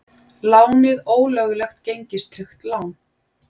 Lánið ólöglegt gengistryggt lán